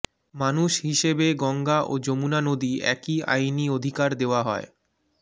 মানুষ হিসেবে গঙ্গা ও যমুনা নদী একই আইনি অধিকার দেওয়া হয়